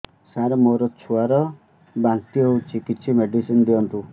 ସାର ମୋର ଛୁଆ ର ବାନ୍ତି ହଉଚି କିଛି ମେଡିସିନ ଦିଅନ୍ତୁ